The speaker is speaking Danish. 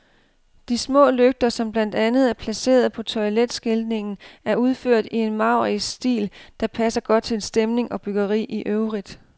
De små lygter, som blandt andet er placeret på toiletskiltningen, er udført i en maurisk stil, der passer godt til stemning og byggeri i øvrigt.